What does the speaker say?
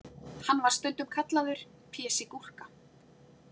Hann var stundum kallaður Pési gúrka.